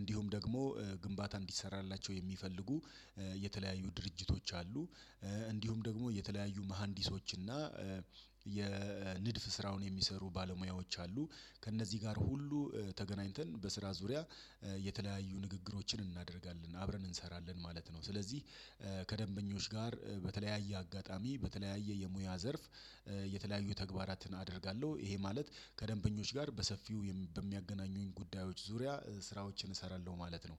እንዲሁም ደግሞ ግንባታ እንዲሰራላቸው የሚፈልጉ የተለያዩ ድርጅቶች አሉ። እንዲሁም ደግሞ የተለያዩ መሃንዲሶች እና የንድፍ ስራውን የሚሰሩ ባለሙያዎች አሉ። ከእነዚህ ጋር ሁሉ ተገናኝተን በስራ ዙሪያ የተለያዩ ንግግሮችን እናደርጋለን አብረን እንሰራለን ማለት ነው። ስለዚህ ከደንበኞች ጋር በተለያየ አጋጣሚ በተለያየ የሙያ ዘርፍ የተለያዩ ተግባራትን አደርጋለሁ ይሄ ማለት ከደንበኞች ጋር በሰፊው በሚያገናኙኝ ጉዳዮች ዙሪያ ስራዎችን እሰራለሁ ማለት ነው።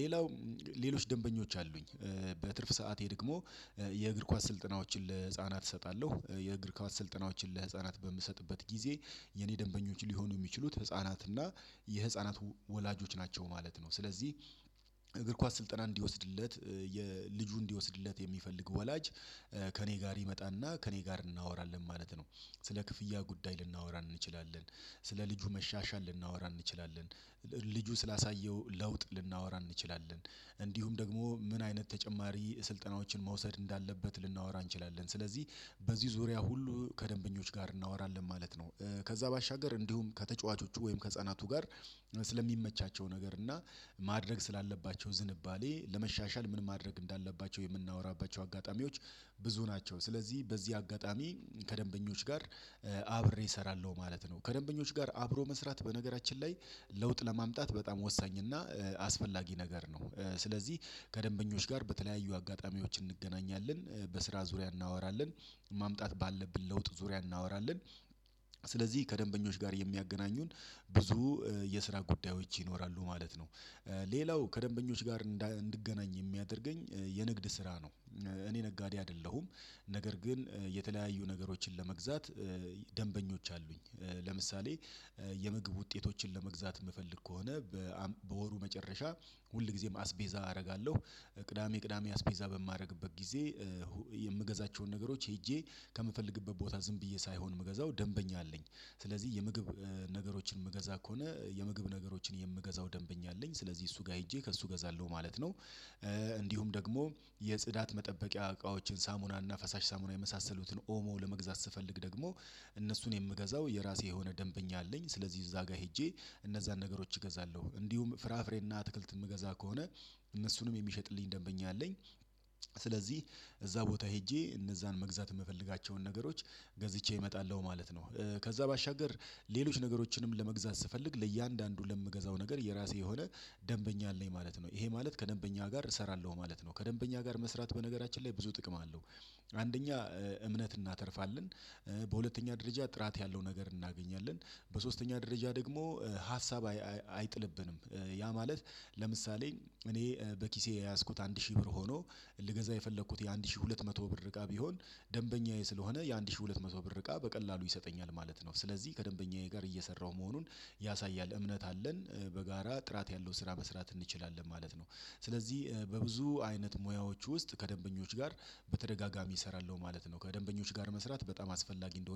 ሌላው ሌሎች ደንበኞች አሉኝ። በትርፍ ሰዓቴ ደግሞ የእግር ኳስ ስልጠናዎችን ለህፃናት እሰጣለሁ። የእግር ኳስ ስልጠናዎችን ለህፃናት በምሰጥበት ጊዜ የኔ ደንበኞች ሊሆኑ የሚችሉት ህፃናት እና የህፃናት ወላጆች ናቸው ማለት ነው። ስለዚህ እግር ኳስ ስልጠና እንዲወስድለት የልጁ እንዲወስድለት የሚፈልግ ወላጅ ከእኔ ጋር ይመጣና ከእኔ ጋር እናወራለን ማለት ነው። ስለ ክፍያ ጉዳይ ልናወራ እንችላለን ስለ ልጁ መሻሻል ልናወራ እንችላለን ልጁ ስላሳየው ለውጥ ልናወራ እንችላለን እንዲሁም ደግሞ ምን አይነት ተጨማሪ ስልጠናዎችን መውሰድ እንዳለበት ልናወራ እንችላለን። ስለዚህ በዚህ ዙሪያ ሁሉ ከደንበኞች ጋር እናወራለን ማለት ነው። ከዛ ባሻገር እንዲሁም ከተጫዋቾቹ ወይም ከህፃናቱ ጋር ስለሚመቻቸው ነገር እና ማድረግ ስላለባቸው ዝንባሌ ለመሻሻል ምን ማድረግ እንዳለባቸው የምናወራባቸው አጋጣሚዎች ብዙ ናቸው። ስለዚህ በዚህ አጋጣሚ ከደንበኞች ጋር አብሬ እሰራለሁ ማለት ነው። ከደንበኞች ጋር አብሮ መስራት በነገራችን ላይ ለውጥ ለማምጣት በጣም ወሳኝ እና አስፈላጊ ነገር ነው። ስለዚህ ከደንበኞች ጋር በተለያዩ አጋጣሚዎች እንገናኛለን በስራ ዙሪያ እናወራለን ማምጣት ባለብን ለውጥ ዙሪያ እናወራለን ስለዚህ ከደንበኞች ጋር የሚያገናኙን ብዙ የስራ ጉዳዮች ይኖራሉ ማለት ነው። ሌላው ከደንበኞች ጋር እንድገናኝ የሚያደርገኝ የንግድ ስራ ነው። እኔ ነጋዴ አይደለሁም። ነገር ግን የተለያዩ ነገሮችን ለመግዛት ደንበኞች አሉኝ። ለምሳሌ የምግብ ውጤቶችን ለመግዛት የምፈልግ ከሆነ በወሩ መጨረሻ ሁል ጊዜም አስቤዛ አደርጋለሁ ቅዳሜ ቅዳሜ አስቤዛ በማደርግበት ጊዜ የምገዛቸውን ነገሮች ሄጄ ከምፈልግበት ቦታ ዝም ብዬ ሳይሆን የምገዛው ደንበኛ አለኝ። ስለዚህ የምግብ ነገሮችን የምገዛ ከሆነ የምግብ ነገሮችን የምገዛው ደንበኛ አለኝ ስለዚህ እሱ ጋር ሄጄ ከእሱ እገዛለሁ ማለት ነው። እንዲሁም ደግሞ የጽዳት መጠበቂያ እቃዎችን ሳሙናና ፈሳሽ ሳሙና የመሳሰሉትን ኦሞ ለመግዛት ስፈልግ ደግሞ እነሱን የምገዛው የራሴ የሆነ ደንበኛ አለኝ ስለዚህ እዛ ጋር ሄጄ እነዛን ነገሮች እገዛለሁ እንዲሁም ፍራፍሬና አትክልት የምገዛ ከሆነ እነሱንም የሚሸጥልኝ ደንበኛ አለኝ። ስለዚህ እዛ ቦታ ሄጄ እነዛን መግዛት የምፈልጋቸውን ነገሮች ገዝቼ እመጣለሁ ማለት ነው። ከዛ ባሻገር ሌሎች ነገሮችንም ለመግዛት ስፈልግ ለእያንዳንዱ ለምገዛው ነገር የራሴ የሆነ ደንበኛ አለኝ ማለት ነው ይሄ ማለት ከደንበኛ ጋር እሰራለሁ ማለት ነው ከደንበኛ ጋር መስራት በነገራችን ላይ ብዙ ጥቅም አለው። አንደኛ እምነት እናተርፍለን። በሁለተኛ ደረጃ ጥራት ያለው ነገር እናገኛለን። በሶስተኛ ደረጃ ደግሞ ሀሳብ አይጥልብንም። ያ ማለት ለምሳሌ እኔ በኪሴ የያዝኩት አንድ ሺህ ብር ሆኖ ልገዛ የፈለኩት የአንድ ሺህ ሁለት መቶ ብር እቃ ቢሆን ደንበኛዬ ስለሆነ የአንድ ሺህ ሁለት መቶ ብር እቃ በቀላሉ ይሰጠኛል ማለት ነው። ስለዚህ ከደንበኛዬ ጋር እየሰራሁ መሆኑን ያሳያል እምነት አለን። በጋራ ጥራት ያለው ስራ መስራት እንችላለን ማለት ነው። ስለዚህ ብዙ አይነት ሙያዎች ውስጥ ከደንበኞች ጋር በተደጋጋሚ እሰራለሁ ማለት ነው። ከደንበኞች ጋር መስራት በጣም አስፈላጊ እንደሆነ